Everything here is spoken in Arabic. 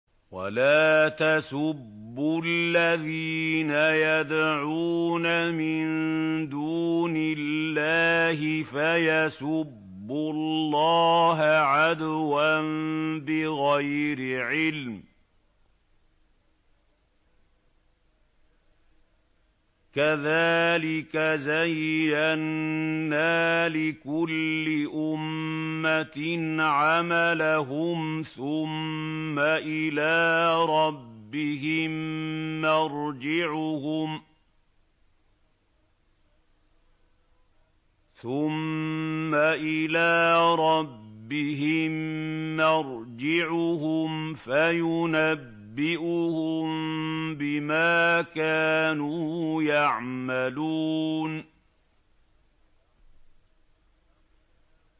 وَلَا تَسُبُّوا الَّذِينَ يَدْعُونَ مِن دُونِ اللَّهِ فَيَسُبُّوا اللَّهَ عَدْوًا بِغَيْرِ عِلْمٍ ۗ كَذَٰلِكَ زَيَّنَّا لِكُلِّ أُمَّةٍ عَمَلَهُمْ ثُمَّ إِلَىٰ رَبِّهِم مَّرْجِعُهُمْ فَيُنَبِّئُهُم بِمَا كَانُوا يَعْمَلُونَ